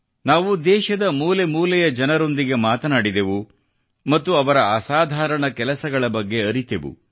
ನಾವು ದೇಶದ ಮೂಲೆಮೂಲೆಯ ಜನರೊಂದಿಗೆ ಮಾತನಾಡಿದೆವು ಮತ್ತು ಅವರ ಅಸಾಧಾರಣ ಕೆಲಸದ ಬಗ್ಗೆ ಅರಿತೆವು